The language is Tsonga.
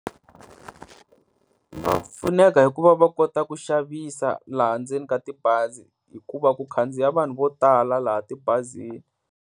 Va pfuneka hi ku va va kota ku xavisa laha ndzeni ka tibazi, hikuva ku khandziya vanhu vo tala laha tibazini.